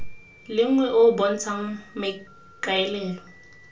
lengwe o o bontshang maikaelelo